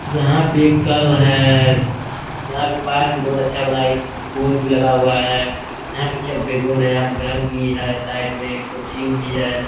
यहाँ पे एक कल है। यहाँ पे पाथ भी बहुत अच्छा बना है। एक बोर्ड भी लगा हुआ है । यहाँ पे क्या बैकग्राउंड है। घर भी है साइड मे कोचिंग भी है।